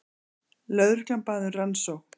Lögreglan bað um rannsókn